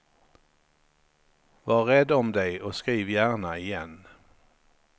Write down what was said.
Var rädd om dig och skriv gärna igen.